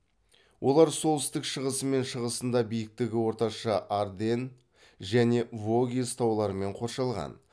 олар солтүстік шығысы мен шығысында биіктігі орташа арденн және вогез тауларымен қоршалған